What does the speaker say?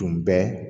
Tun bɛ